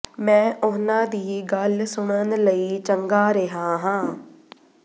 ਮੈਂ ਉਨ੍ਹਾਂ ਦੀ ਗੱਲ ਸੁਣਨ ਲਈ ਚੰਗਾ ਰਿਹਾ ਹਾਂ